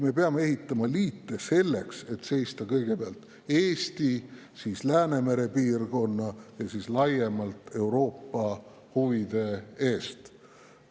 Me peame ehitama liite selleks, et seista kõigepealt Eesti, siis Läänemere piirkonna ja ka laiemalt Euroopa huvide eest.